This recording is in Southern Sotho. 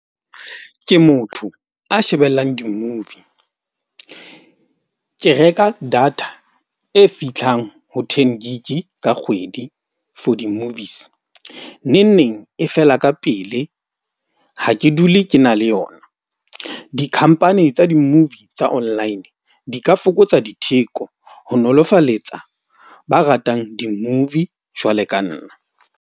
Ke motho a shebellang di-movie. Ke reka data e fihlang ho ten gig-i ka kgwedi for di-movies. Neng neng e fela ka pele ha ke dule ke na le yona. Dikhampani tsa di-movie tsa online di ka fokotsa ditheko ho nolofaletsa ba ratang di-movie jwalo ka nna.